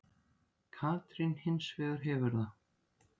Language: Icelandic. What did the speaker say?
Katrín hins vegar hefur það.